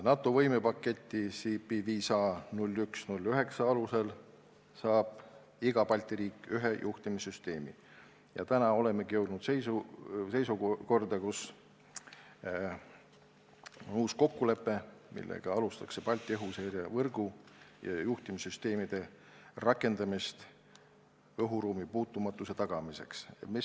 NATO võimepaketi CP 5A0109 alusel saab iga Balti riik ühe juhtimissüsteemi ning täna olemegi jõudnud sinnamaale, et sõlmida uus kokkulepe, millega alustatakse Balti õhuseirevõrgu ja juhtimissüsteemide rakendamist õhuruumi puutumatuse tagamiseks.